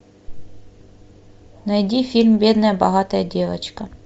найди фильм бедная богатая девочка